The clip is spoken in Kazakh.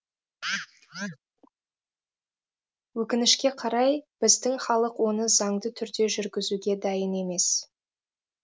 өкінішке қарай біздің халық оны заңды түрде жүргізуге дайын емес